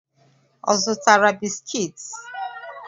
Ọ zụtara bisiki?